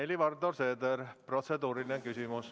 Helir-Valdor Seeder, protseduuriline küsimus.